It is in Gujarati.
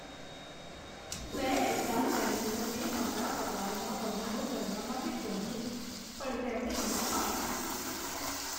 મેં એચ.આર. મેનેજરને મારા પગારમાં વધારો કરવા માટે કહ્યું પણ તેમણે ના પાડી.